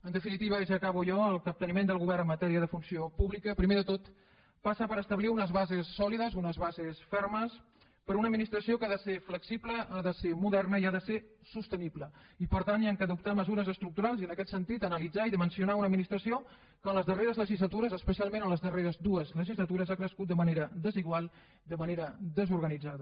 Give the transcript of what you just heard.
en definitiva ja acabo jo el capteniment del govern en matèria de funció pública primer de tot passa per establir unes bases sòlides unes bases fermes per a una administració que ha de ser flexible ha de ser moderna i ha de ser sostenible i per tant cal adoptar mesures estructurals i en aquest sentit analitzar i dimensionar una administració que en les darreres legislatures especialment en les darreres dues legislatures ha crescut de manera desigual de manera desorganitzada